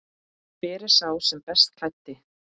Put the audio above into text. Hver er sá best klæddi?